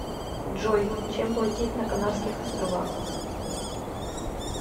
джой чем платить на канарских островах